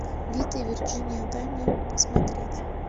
вита и вирджиния дай мне посмотреть